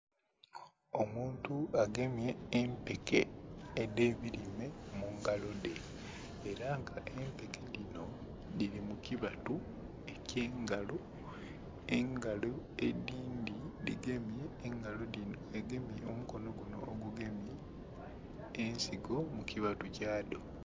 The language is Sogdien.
Omuntu agemye empeke edhe birime mungalo dhe era nga empeke dhinho dhili mukibatu ekyengalo, engalo edhindhi dhigemye engalo dhinho dhigemye nhomukono ogugemye ensigo mukibatu kyadho.